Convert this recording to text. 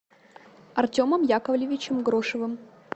артемом яковлевичем грошевым